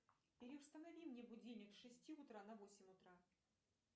переустанови мне будильник с шести утра на восемь утра